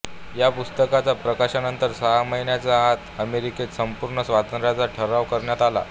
या पुस्तकाच्या प्रकाशनानंतर सहा महिन्यांच्या आत अमेरिकेत संपूर्ण स्वातंत्र्याचा ठराव करण्यात आला